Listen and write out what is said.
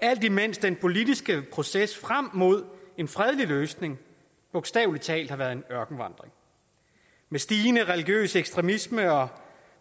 alt imens den politiske proces frem mod en fredelig løsning bogstavelig talt har været en ørkenvandring med stigende religiøs ekstremisme og